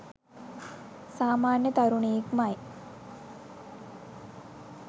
සාමන්‍ය තරුණයෙක් මයි.